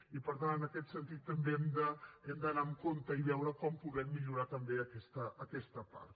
i per tant en aquest sentit també hem d’anar amb compte i veure com podem millorar també aquesta part